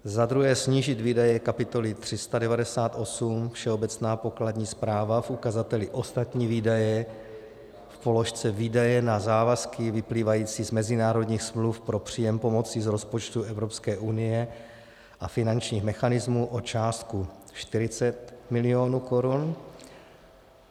Za druhé snížit výdaje kapitoly 398 Všeobecná pokladní správa v ukazateli ostatní výdaje v položce výdaje na závazky vyplývající z mezinárodních smluv pro příjem pomoci z rozpočtu Evropské unie a finančních mechanismů o částku 40 milionů korun.